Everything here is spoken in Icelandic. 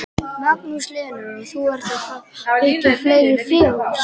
Magnús Hlynur: Og þú ert að fara byggja fleiri fjós?